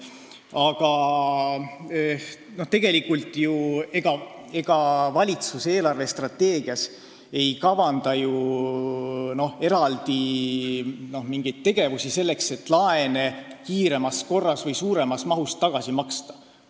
Aga ega valitsus ei kavanda eelarvestrateegias ju eraldi mingeid tegevusi selleks, et laene kiiremas korras või suuremas mahus tagasi maksta.